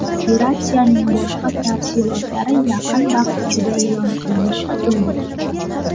Operatsiyaning boshqa tafsilotlari yaqin vaqt ichida e’lon qilinishi kutilmoqda.